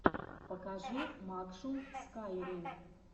покажи макшун скайрим